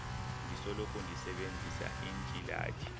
ndisoloko ndisebenzisa iintsilathi